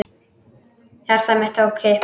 Hjarta mitt tók kipp.